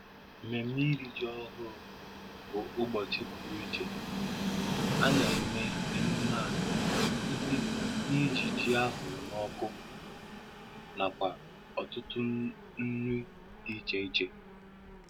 Mmemme iri ji ọhụrụ bụ ụbọchị pụrụ iche: A na-eme emume a site n'iji ji a hụrụ n'ọkụ nakwa ọtụtụ nri dị iche iche